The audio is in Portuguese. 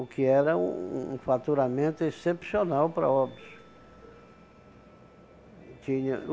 O que era um um faturamento excepcional para Óbidos. Tinha